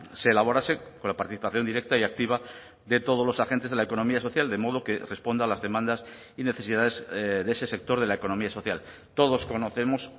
se elaborase con la participación directa y activa de todos los agentes de la economía social de modo que responda a las demandas y necesidades de ese sector de la economía social todos conocemos